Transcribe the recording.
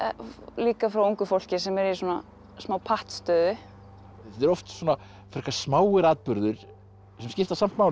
líka frá ungu fólki sem er í smá pattstöðu þetta er oft svona frekar smáir atburðir sem skipta samt máli